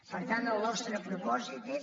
per tant el nostre propòsit és